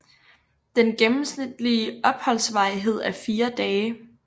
Den gennemsnitlige opholdsvarighed er 4 dage